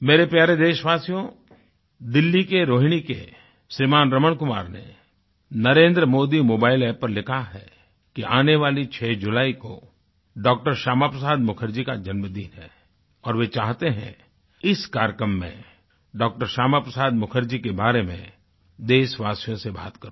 मेरे प्यारे देशवासियो दिल्ली के रोहिणी के श्रीमान रमण कुमार ने नरेंद्र मोदी मोबाइल अप्प पर लिखा है कि आने वाली 6 जुलाई को डॉ० श्यामा प्रसाद मुखर्जी का जन्मदिन है और वे चाहते हैं इस कार्यक्रम में डॉ० श्यामा प्रसाद मुखर्जी के बारे में देशवासियों से बात करूँ